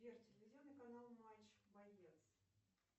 сбер телевизионный канал матч боец